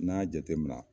N'an y'a jateminɛ